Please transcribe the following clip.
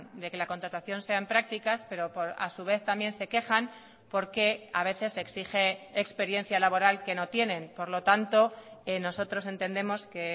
de que la contratación sean prácticas pero a su vez también se quejan porque a veces se exige experiencia laboral que no tienen por lo tanto nosotros entendemos que